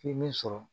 I ye min sɔrɔ